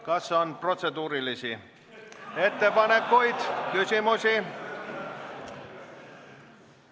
Kas on protseduurilisi ettepanekuid, küsimusi?